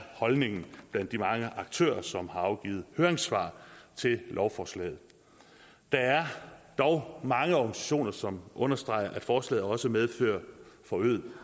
holdningen blandt de mange aktører som har afgivet høringssvar til lovforslaget der er dog mange organisationer som understreger at forslaget også medfører forøget